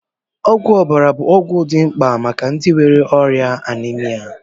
Ọgwụ ọbara bụ ọgwụ dị mkpa maka ndị nwere ọrịa Anemia